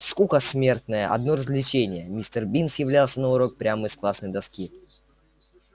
скука смертная одно развлечение мистер бинс являлся на урок прямо из классной доски